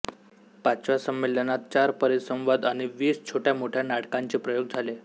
पाचव्या संमेलनात चार परिसंवाद आणि वीस छोट्यामोठ्या नाटकांचे प्रयोग झाले